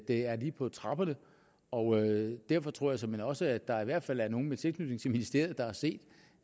er lige på trapperne og derfor tror jeg såmænd også at der i hvert fald er nogle med tilknytning til ministeriet der har set